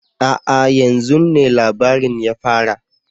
A'a! yan zun ne labarin ya fara